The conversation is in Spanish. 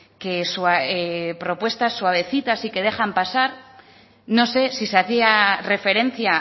que su propuesta suavecita y que dejan pasar no sé si se hacía referencia